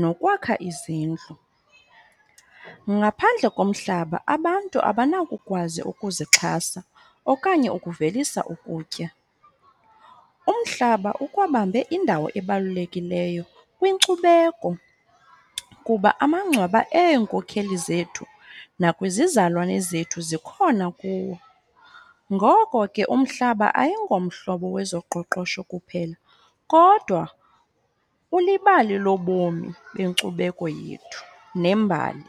nokwakha izindlu. Ngaphandle komhlaba abantu abanakukwazi ukuzixhasa okanye ukuvelisa ukutya. Umhlaba ukwabambe indawo ebalulekileyo kwinkcubeko, kuba amangcwaba eenkokheli zethu nakwizizalwane zethu zikhona kuwo. Ngoko ke umhlaba ayingomhlobo wezoqoqosho kuphela kodwa ulibali lobomi benkcubeko yethu nembali.